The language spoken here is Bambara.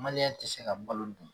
Maliyɛn ti se ka balo dun